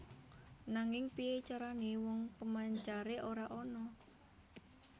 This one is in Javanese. Nanging piyé carané wong pemancare ora ana